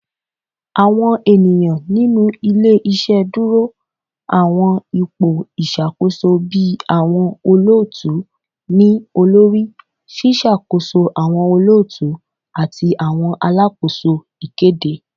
Awọn eniyan ninu ile-iṣẹ duro awọn ipo iṣakoso bii awọn olootu-ni-olori, ṣiṣakoso awọn olootu, ati awọn alakoso ikede